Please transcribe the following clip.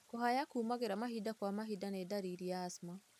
Kũhaya kumagĩra mahinda kwa mahinda nĩ ndariri ya asthma.